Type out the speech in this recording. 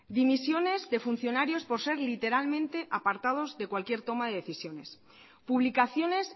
dimisiones de funcionarios por ser literalmente apartados de cualquier toma de decisiones publicaciones